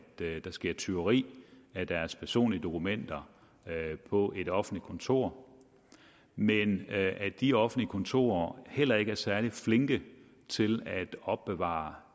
der sker tyveri af deres personlige dokumenter på et offentligt kontor men at de offentlige kontorer heller ikke er særlig flinke til at opbevare